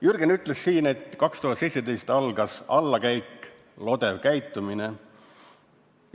Jürgen ütles siin, et 2017 algas allakäik, lodev käitumine.